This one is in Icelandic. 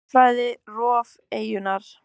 Jarðfræði: Rof eyjunnar.